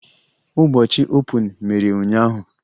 Ụbọchị Open mere ụnyaahụ?